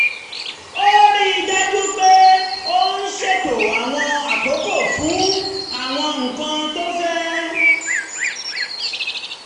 ó rí i dájú pé òun ṣètò àwọn àkókò fún àwọn nǹkan tó fẹ́